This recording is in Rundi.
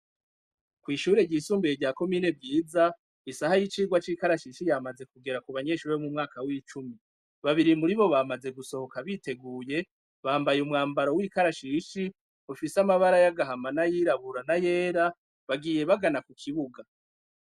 Kw'ishure ry'isumbuye rya komine vyiza, isaha y'icirwa c'ikarashishi yamaze kugera ku banyeshuri bo mu mwaka w'icumi, babiri muri bo bamaze gusohoka biteguye bambaye umwambaro w'ikarashishi ufise amabara y'agahama na yirabura na yera bagiye bagana ku kibuga.